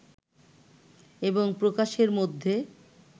এবং প্রকাশের মধ্যে